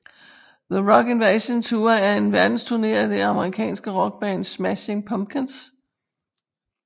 The Rock Invasion Tour er en verdensturné af det amerikanske rockband Smashing Pumpkins